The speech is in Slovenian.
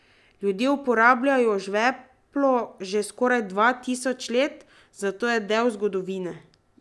Ljudje uporabljajo žveplo že skoraj dva tisoč let, zato je del zgodovine.